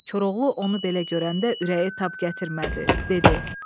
Koroğlu onu belə görəndə ürəyi tab gətirmədi, dedi: